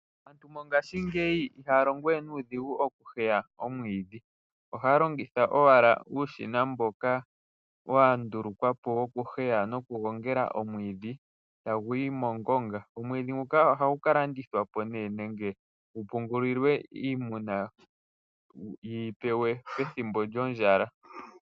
Mongaashingeyi aantu ihaya longo we nuudhigu okuheya omwiidhi ohaya longitha owala uushina mboka wa ndulukwapo okuheya noku gongela omwiidhi taguyi mongonga. Omwiidhi nguka ohagu ka landithwa po nee nenge gu pungulilwe iimuna yi yipewe pethimbo lyondjala.